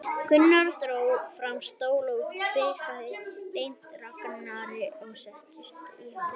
Gunnar dró fram stól og Birkir benti Ragnari að setjast í hann.